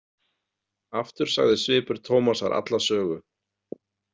Aftur sagði svipur Tómasar alla sögu.